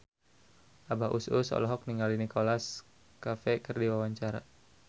Abah Us Us olohok ningali Nicholas Cafe keur diwawancara